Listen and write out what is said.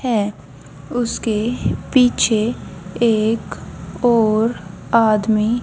है उसके पीछे एक और आदमी--